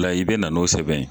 la i bɛ na n'o sɛbɛn ye.